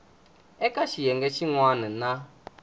eka xiyenge xin wana na